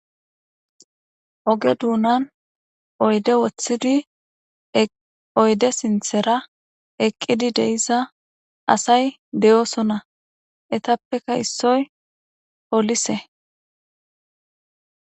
oge duunan oyde woththidi oyde sinthera eqqidi deiza asay de7osona etappeka issoy poolise